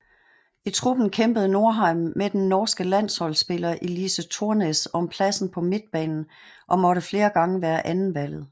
I truppen kæmpede Norheim med den norske landsholdspiller Elise Thorsnes om pladsen på midtbanen og måtte flere gange være andetvalget